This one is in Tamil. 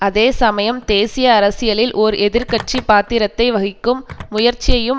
அதேசமயம் தேசிய அரசியலில் ஓர் எதிர் கட்சி பாத்திரத்தை வகிக்கும் முயற்சியையும்